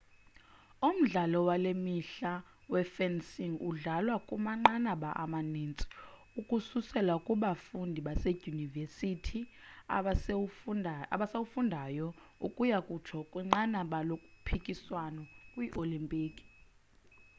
umdlalo wale mihla we-fencing udlalwa kumanqanaba amaninzi ukususela kubafundi baseyunivesithi abasawufundayo ukuya kutsho kwinqanaba lokhuphiswano kwi-olimpiki